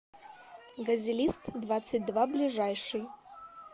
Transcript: газелист двадцать два ближайший